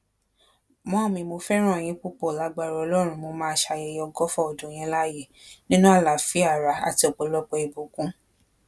mọmì mo fẹràn yín púpọ lágbára ọlọrun mo máa ṣayẹyẹ ọgọfà ọdún yín láyé nínú àlàáfíà ara àti ọpọlọpọ ìbùkún